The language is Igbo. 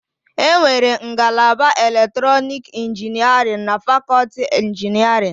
Enwere ngalaba elektrọnik ịnginierịn na fakọti ịnginierịn